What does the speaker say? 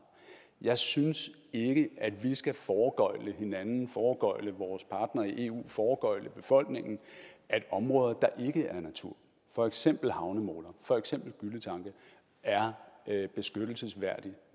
jeg synes ikke at vi skal foregøgle hinanden foregøgle vores partnere i eu foregøgle befolkningen at områder der ikke er natur for eksempel havnemoler for eksempel gylletanke er beskyttelsesværdig